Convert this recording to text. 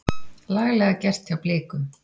Laglega gert hjá Blikum.